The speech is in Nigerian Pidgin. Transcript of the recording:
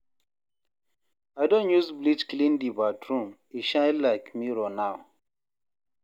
I don use bleach clean di bathroom, e shine like mirror now.